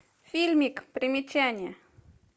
фильмик примечание